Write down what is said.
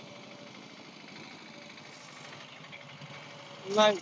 नाही.